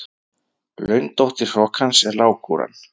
Laundóttir hrokans er lágkúran.